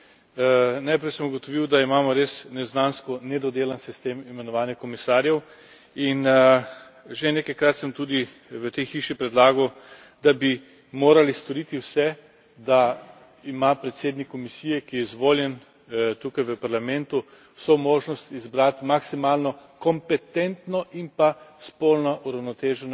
Najprej sem ugotovil, da imamo res neznansko nedodelan sistem imenovanja komisarjev in že nekajkrat sem tudi v tej hiši predlagal, da bi morali storiti vse, da ima predsednik Komisije, ki je izvoljen tukaj v Parlamentu, vso možnost izbrati maksimalno kompetentno in pa spolno uravnoteženo ekipo.